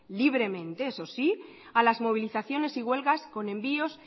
libremente eso sí a las movilizaciones y huelgas con envíos